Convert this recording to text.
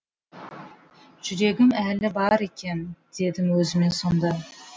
жүрегім әлі бар екен дедім өзіме сонда